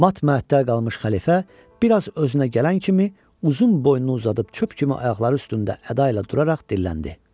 Mat məəttəl qalmış xəlifə bir az özünə gələn kimi uzun boynunu uzadıb çöp kimi ayaqları üstündə əda ilə duraraq dilləndi.